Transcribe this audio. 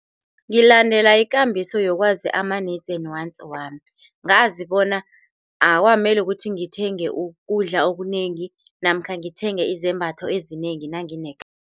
Ngiyalandela ikambiso yokwazi ama-needs and wants wami. Ngazibona akukameli ukuthi ngithenge ukudla okunengi namkha ngithenge izembatho ezinengi nanginekhambo.